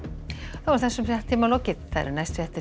þessum fréttatíma er lokið næstu fréttir